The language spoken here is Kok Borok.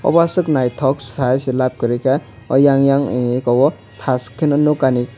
obo asok naitok sayoi se lab koroi ka o eyang oyang ni eko o tas ke nokani.